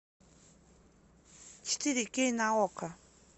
четыре кей на окко